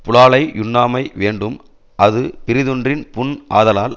புலாலை யுண்ணாமை வேண்டும் அது பிறிதொன்றின் புண் ஆதலால்